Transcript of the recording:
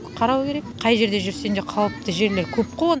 қарау керек қай жерде жүрсең де қауіпті жерлер көп қой